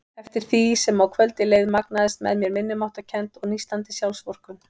Eftir því sem á kvöldið leið magnaðist með mér minnimáttarkennd og nístandi sjálfsvorkunn.